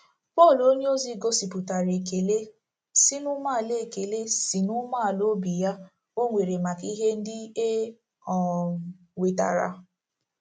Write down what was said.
Pọl onyeozi gosipụtara ekele si n'umeala ekele si n'umeala obi ya o nwere maka ihe ndị e um wetara.